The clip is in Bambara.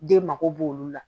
Den mako b'olu la